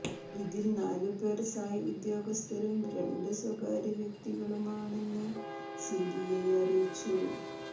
ഇതിൽ നാലുപേർ സായ് ഉദ്യോഗസ്ഥരും രണ്ട് സ്വകാര്യ വ്യക്തികളുമാണെന്ന് സിബി ഐ അറിയിച്ചു